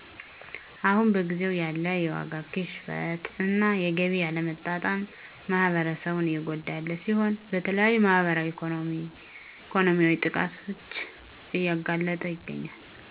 አሁን በጊዜው ያለ የዋጋ ግሽበት እና የገቢ አለመመጣጠን ማህበረሰቡን እየጎዳ ያለ ሲሆን ለተለያዩ ማህበራዊ ኢኮኖሚያዊ ጥቃቶች እያጋለጠው ይገኛል።